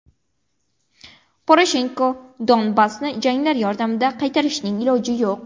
Poroshenko: Donbassni janglar yordamida qaytarishning iloji yo‘q.